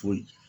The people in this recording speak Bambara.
Foyi